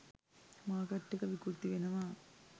Market එක විකෘති වෙනවා.